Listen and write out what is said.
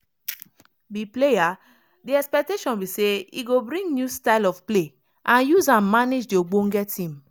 be player di expectation be say e go bring new style of play and use and manage di ogbonge team